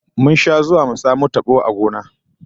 Mun sha zuwa mu samo tabo a gona wajen bishiyar kade